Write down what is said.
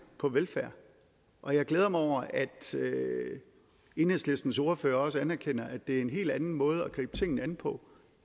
på velfærd og jeg glæder mig over at enhedslistens ordfører også anerkender at det er en helt anden måde at gribe tingene an på